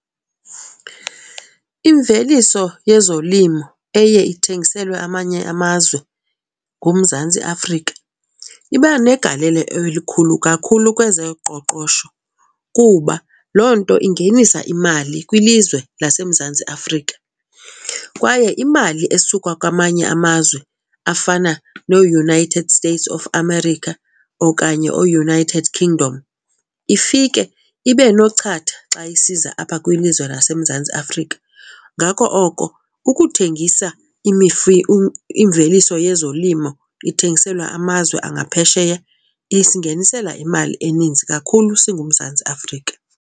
Imveliso yezolimo eye ithengiselwe amanye amazwe nguMzantsi Afrika iba negalelo elikhulu kakhulu kwezoqoqosho kuba loo nto ingenisa imali kwilizwe laseMzantsi Afrika. Kwaye imali esuka kwamanye amazwe afana nooUnited States of America okanye ooUnited Kingdom ifike ibe nochatha xa isiza apha kwilizwe laseMzantsi Afrika. Ngako oko ukuthengisa imveliso yezolimo ithengiselwa amazwe angaphesheya isingenisela imali eninzi kakhulu singuMzantsi Afrika.